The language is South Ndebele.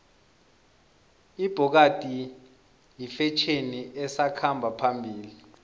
ibhokadi yifetjheni esakhamba phambili